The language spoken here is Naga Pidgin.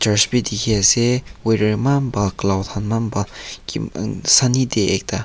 church b diki ase weather eman bhal cloud kan eman bhal ki man sunny day ekta.